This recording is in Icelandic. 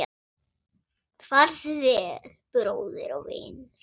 Farðu vel, bróðir og vinur